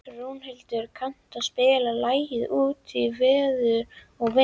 Rúnhildur, kanntu að spila lagið „Út í veður og vind“?